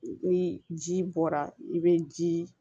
Ni ji bɔra i be ji